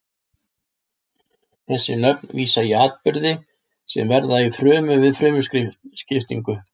Þessi nöfn vísa í atburði sem verða í frumu við frumuskiptingu.